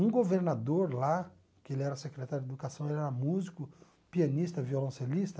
Um governador lá, que ele era secretário de educação, ele era músico, pianista, violoncelista,